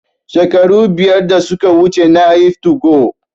Shekaru biyar da suka wuce nayi 2go